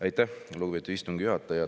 Aitäh, lugupeetud istungi juhataja!